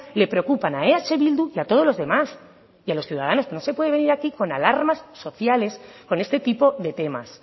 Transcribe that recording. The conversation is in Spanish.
le preocupan a eh bildu y a todos los demás y a los ciudadanos que no se puede venir aquí con alarmas sociales con este tipo de temas